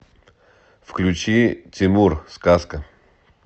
включи тимур сказка